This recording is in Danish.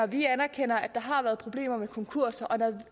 vi anerkender at der har været problemer med konkurser og